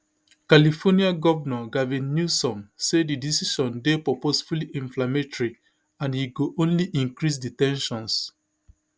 california govnor gavin newsom say di decision dey purposefully inflammatory and e go only increase di ten sions